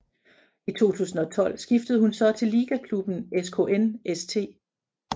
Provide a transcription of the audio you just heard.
I 2012 skiftede hun så til ligaklubben SKN St